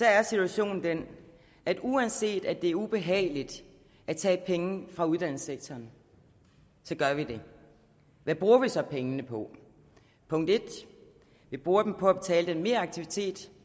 er situationen den at uanset at det er ubehageligt at tage penge fra uddannelsessektoren så gør vi det hvad bruger vi så pengene på punkt 1 vi bruger dem på at betale den meraktivitet